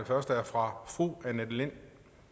første er fra fru annette lind